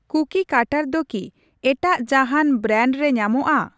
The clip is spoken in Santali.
ᱠᱩᱠᱤ ᱠᱟᱴᱟᱨ ᱫᱚ ᱠᱤ ᱮᱴᱟᱜ ᱡᱟᱦᱟᱸᱱ ᱵᱨᱮᱱᱰ ᱨᱮ ᱧᱟᱢᱚᱜᱼᱟ ?